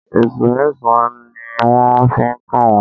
Ẹ̀sùn mẹ́sàn-án ni wọ́n fi kàn wọ́n.